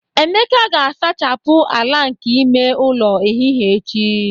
Emeka ga-asachapụ ala nke ime ụlọ ehihie echi